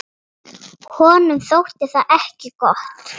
Honum þótti það ekki gott.